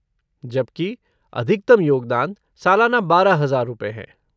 जबकि, अधिकतम योगदान सालाना बारह हजार रुपये हैं।